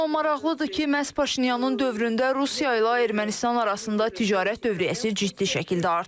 Amma maraqlıdır ki, məhz Paşinyanın dövründə Rusiya ilə Ermənistan arasında ticarət dövriyyəsi ciddi şəkildə artıb.